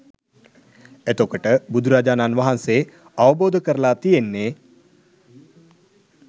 එතකොට බුදුරජාණන් වහන්සේ අවබෝධ කරල තියෙන්නේ